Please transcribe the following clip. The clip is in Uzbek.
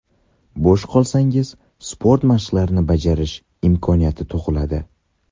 Bo‘sh qolsangiz sport mashqlarini bajarish imkoniyati tug‘iladi.